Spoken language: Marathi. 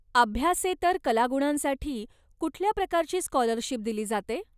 अभ्यासेतर कलागुणांसाठी कुठल्या प्रकारची स्कॉलरशिप दिली जाते?